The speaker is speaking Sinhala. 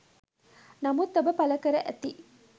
නමුත් ඔබ පල කර ඇති